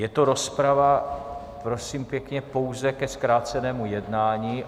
Je to rozprava, prosím pěkně, pouze ke zkrácenému jednání.